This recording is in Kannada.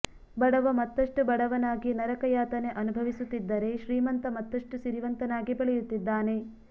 ಬಡವ ಮತ್ತಷ್ಟು ಬಡವನಾಗಿ ನರಕಯಾತನೆ ಅನುಭವಿಸುತ್ತಿದ್ದರೆ ಶ್ರೀಮಂತ ಮತ್ತಷ್ಟು ಸಿರಿವಂತನಾಗಿ ಬೆಳೆಯುತ್ತಿದ್ದಾನೆ